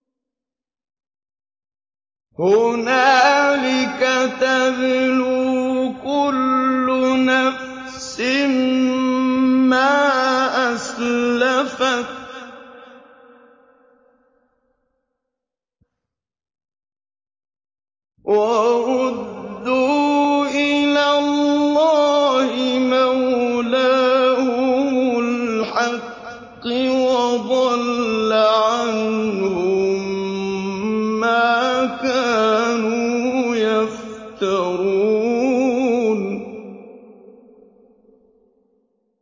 هُنَالِكَ تَبْلُو كُلُّ نَفْسٍ مَّا أَسْلَفَتْ ۚ وَرُدُّوا إِلَى اللَّهِ مَوْلَاهُمُ الْحَقِّ ۖ وَضَلَّ عَنْهُم مَّا كَانُوا يَفْتَرُونَ